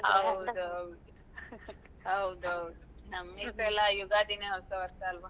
ಹೌದೌದು ಹೌದೌದು ನಮಗೆಸ ಯುಗಾದಿನೆ ಹೊಸವರ್ಷ ಅಲ್ವಾ.